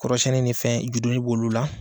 Kɔrɔsɛnni ni fɛn ninnu i bɛ dɔɔnin k'olu la.